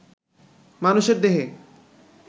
মানুষের দেহে